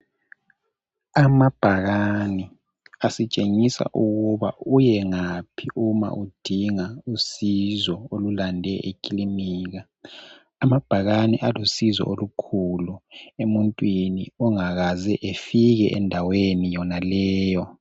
Amabhakani asitshengise ukuba uyengaphi ngaphi uma udinga usizo olulande ekilinika amabhakane alusizo olukhulu emuntwini ongakaze efike endaweni yonaleyo.